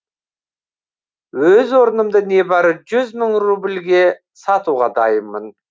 өз орнымды небәрі жүз мың рубльге сатуға дайынмын